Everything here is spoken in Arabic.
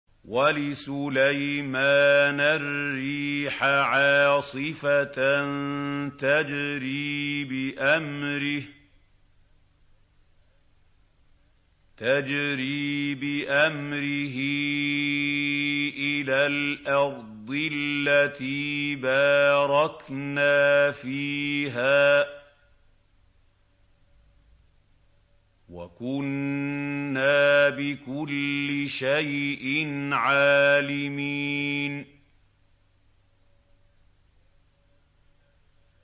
وَلِسُلَيْمَانَ الرِّيحَ عَاصِفَةً تَجْرِي بِأَمْرِهِ إِلَى الْأَرْضِ الَّتِي بَارَكْنَا فِيهَا ۚ وَكُنَّا بِكُلِّ شَيْءٍ عَالِمِينَ